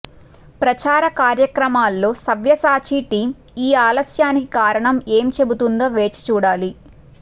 ప్రచారకార్యక్రమాల్లో Savyasachi team ఈ ఆలస్యానికి కారణం ఏం చెబుతుందో వేచి చూడాలి